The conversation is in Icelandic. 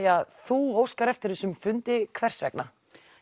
þú óskar eftir þessum fundi hvers vegna